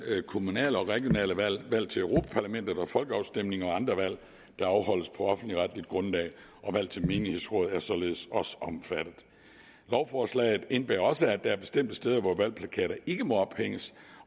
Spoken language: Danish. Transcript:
kommunale og regionale valg valg til europa parlamentet folkeafstemninger og andre valg der afholdes på offentligretligt grundlag valg til menighedsråd er således også omfattet lovforslaget indebærer også at der er bestemte steder hvor valgplakater ikke må ophænges